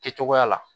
Kɛcogoya la